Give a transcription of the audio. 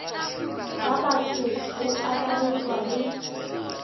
ga batho go akaretšwa le